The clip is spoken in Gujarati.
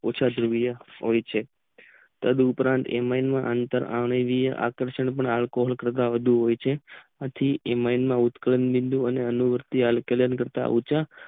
ઓછા સમીડે હોય છે તદ્ ઉપરાંત અતરીનીય એકસ્રીનીય આલ્કોહોલ થતો હોય છે આથી એમાંથી ઉત્કળ ન બિદું એનું બિદું કરતા ઉંચા